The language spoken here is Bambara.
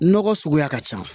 Nɔgɔ suguya ka ca